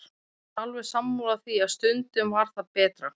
Hann var alveg sammála því að stundum var það betra.